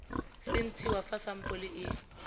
se ntshiwa fa sampole e